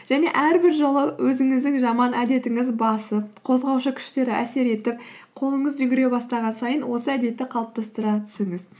және әрбір жолы өзіңіздің жаман әдетіңіз басып қозғаушы күштер әсер етіп қолыңыз жүгіре бастаған сайын осы әдетті қалыптастыра түсіңіз